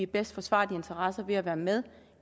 bedst forsvarer de interesser ved at være med